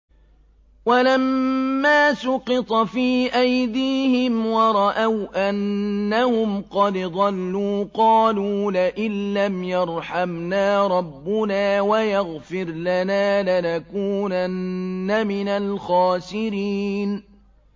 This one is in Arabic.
وَلَمَّا سُقِطَ فِي أَيْدِيهِمْ وَرَأَوْا أَنَّهُمْ قَدْ ضَلُّوا قَالُوا لَئِن لَّمْ يَرْحَمْنَا رَبُّنَا وَيَغْفِرْ لَنَا لَنَكُونَنَّ مِنَ الْخَاسِرِينَ